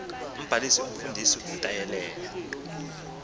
umbalisi umfundisi utyelela